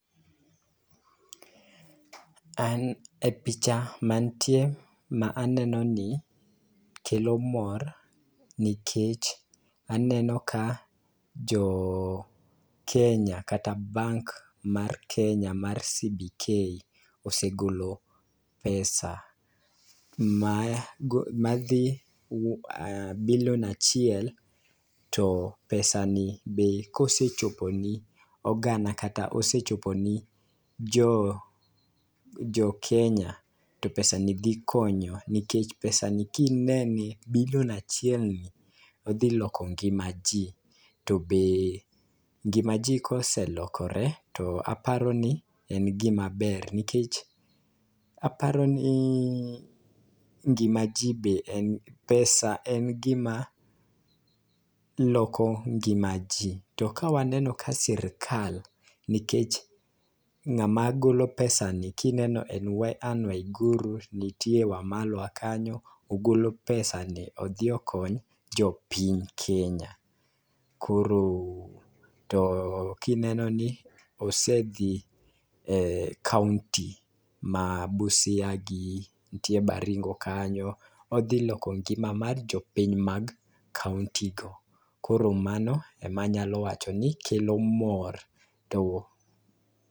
An e picha mantie ma aneno ni kelo mor nikech aneno ka joo kenya kata bank mar kenya mar CBK osegolo pesa ma madhi bilion achiel. To pesa ni be kosechopo ni oganda kata osechopo ne jo jo kenya to pesa ni dhi konyo nikech pesa ni kinene bilion achiel ni odhi lojo ngma jii tbe ngima jii koselokore to aparo ni en gima ber. Nikech aparo ni gima jii be en pesa en gima loko ngima jii to waneno ka sirikal nikech ng'ama golo pesa ni kineno en Ann Waiguru niktie wamalwa kanyo ogolo [pesani odhi okony jopiny kenya. Koro to kineno ni osedhi e kaunti ma Busia gi ntie Baringo kanyo odhi loko ngima mar jopiny mag kaunti go. Koro mago emanyalo wacho ni kelo mor to.